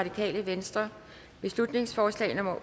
jelved beslutningsforslag nummer